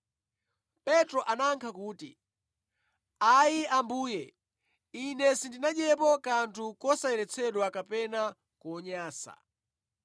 Petro anayankha kuti, “Ayi, Ambuye! Ine sindinadyepo kanthu kosayeretsedwa kapena konyansa.”